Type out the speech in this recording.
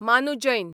मानू जैन